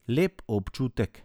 Lep občutek.